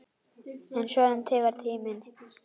En svona tifar tíminn.